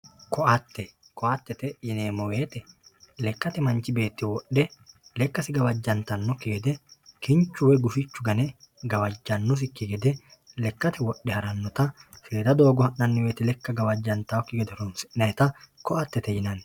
kaotte koattete yineemmo woyte lekkate manchi beetti wodhe lekkasi gawajjantannokki gede wodhe kinchu woy gufichu gane gawajjannosikki gede lekkate wodhe harannota seeda doogo ha'nay woyte lekka gawajjantakki gede horonsi'nayita koattete yinanni.